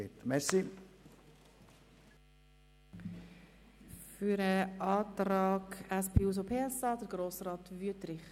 Für den Antrag SP-JUSO-PSA spricht somit Grossrat Wüthrich.